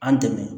An dɛmɛ